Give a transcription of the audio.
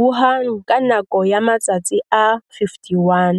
Wuhan ka nako ya matsatsi a 51,